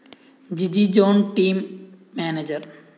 Jiji John team manager